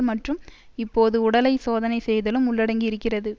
மற்றும் இப்போது உடலை சோதனை செய்தலும் உள்ளடங்கியிருக்கிறது